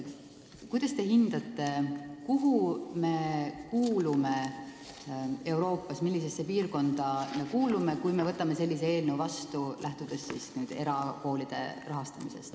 Kuidas te hindate, kuhu meie erakoolide rahastamisest lähtuvalt Euroopas kuuluma hakkame, millisesse piirkonda, kui me selle seaduse vastu võtame?